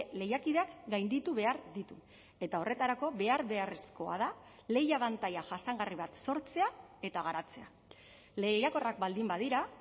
lehiakideak gainditu behar ditu eta horretarako behar beharrezkoa da lehia abantaila jasangarri bat sortzea eta garatzea lehiakorrak baldin badira